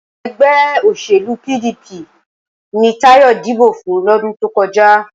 Ẹgbẹ́ òṣèlú PDP ni Táyọ̀ dìbò fún lọ́dún tó kọjá